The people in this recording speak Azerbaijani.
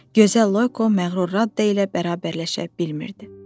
Gözəl Loyko məğrur Radda ilə bərabərləşə bilmirdi.